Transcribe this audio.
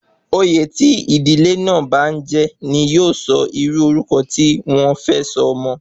Oyè tí ìdílé náà bá n jẹ ní yóò sọ irú orúkọ tí wọ́n fẹ sọ ọmọ